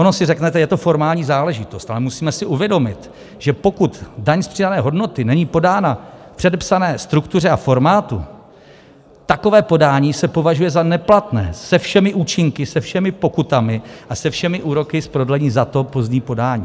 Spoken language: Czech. Ono si řeknete, je to formální záležitost, ale musíme si uvědomit, že pokud daň z přidané hodnoty není podána v předepsané struktuře a formátu, takové podání se považuje za neplatné, se všemi účinky, se všemi pokutami a se všemi úroky z prodlení za to pozdní podání.